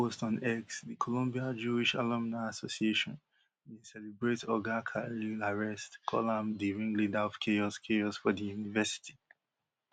for one post on x di columbia jewish alumni association bin celebrate oga khalil arrest call am di ringleader of chaos chaos for di university